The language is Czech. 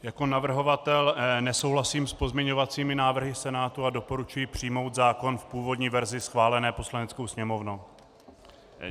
Jako navrhovatel nesouhlasím s pozměňovacími návrhy Senátu a doporučuji přijmout zákon v původní verzi schválené Poslaneckou sněmovnou.